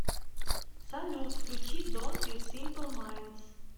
салют включи донт ю симпл майндс